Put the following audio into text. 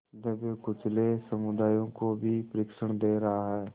दबेकुचले समुदायों को भी प्रशिक्षण दे रहा है